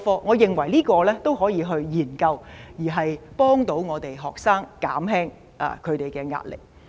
我認為這點都可以研究，以協助學生減輕他們的壓力。